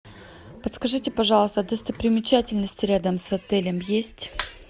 подскажите пожалуйста достопримечательности рядом с отелем есть